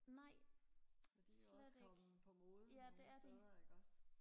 det er også kommet på mode nogle steder ikke også